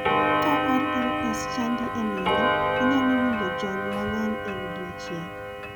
Ka RLS chandi e nindo, inyalo winjo jony mang'eny e odiochieng'